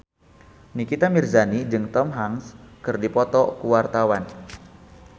Nikita Mirzani jeung Tom Hanks keur dipoto ku wartawan